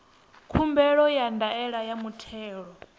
khumbelo ya ndaela ya muthelo